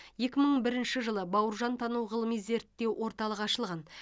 екі мың бірінші жылы бауыржантану ғылыми зерттеу орталығы ашылған